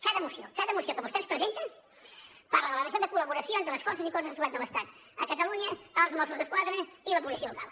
cada moció cada moció que vostè ens presenta parla de la necessitat de col·laboració entre les forces i cossos de seguretat de l’estat a catalunya els mossos d’esquadra i la policia local